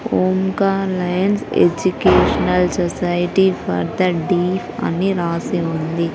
Omkar lions educational society for the deaf అని రాసి ఉంది.